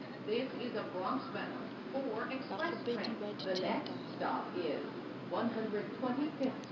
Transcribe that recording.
bakgopedi ba di tendera